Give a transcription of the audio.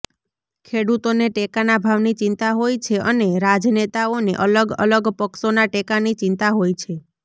ખેડૂતોને ટેકાના ભાવની ચિંતા હોય છે અને રાજનેતાઓને અલગઅલગ પક્ષોના ટેકાની ચિંતા હોય છે